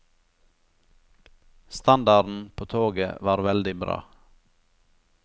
Standarden på toget var veldig bra.